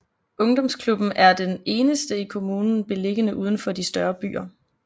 Ungdomsklubben er den eneste i kommunen beliggende udenfor de større byer